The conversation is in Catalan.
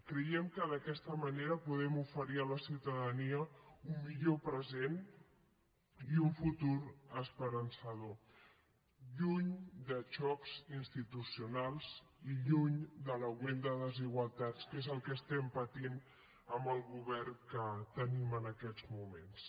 creiem que d’aquesta manera podem oferir a la ciutadania un millor present i un futur esperançador lluny de xocs institucionals i lluny de l’augment de desigualtats que és el que estem patint amb el govern que tenim en aquests moments